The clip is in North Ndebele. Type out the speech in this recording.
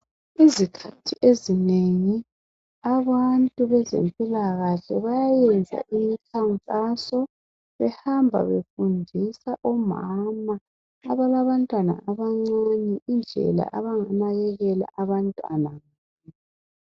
Izikhathi ezinengi abantu bezempilakahle bayenza imikhankaso behamba befundisa omama abalabantwana abancane indlela abanganakekela abantwana.